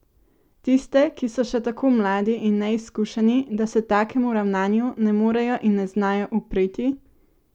Tiste, ki so še tako mladi in neizkušeni, da se takemu ravnanju ne morejo in ne znajo upreti?